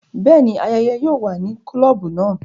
Bẹẹni, ayẹyẹ yóò wà ni klobu náà